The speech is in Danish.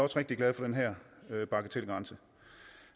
rigtig glade for den her bagatelgrænse